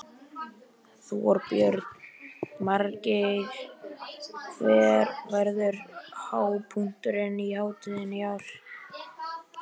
Þorbjörn: Margeir, hver verður hápunkturinn á hátíðinni í ár?